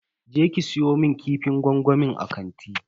Je ki siyo mun kifin gwangwamin a kanti.